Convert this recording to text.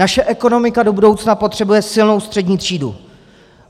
Naše ekonomika do budoucna potřebuje silnou střední třídu.